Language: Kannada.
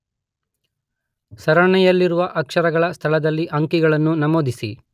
ಸರಣಿಯಲ್ಲಿರುವ ಅಕ್ಷರಗಳ ಸ್ಥಳದಲ್ಲಿ ಅಂಕಿಗಳನ್ನು ನಮೂದಿಸಿ.